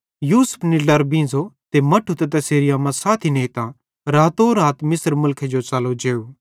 यूसुफ निड्लारां उठो ते मट्ठू ते तैसेरी अम्मा साथी नेइतां रातोरात मिस्र मुलखे जो च़लो जेव